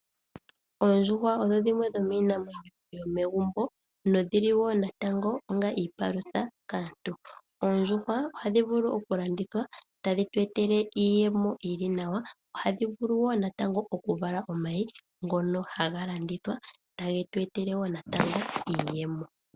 Oondjuhwa odho dhimwe dhomiinamwenyo yomegumbo, nodhili wo natango onga iipalutha kaantu. Oondjuhwa ohadhi vulu oku landithwa etadhi tu etele iiyemo yili nawa, ohadhi vulu wo natango oku vala omayi ngono haga landithwa tagetu etele wo natango iiyemo.